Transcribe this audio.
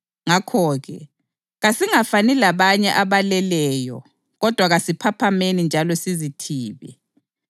Ngakho-ke, kasingafani labanye abaleleyo kodwa kasiphaphameni njalo sizithibe.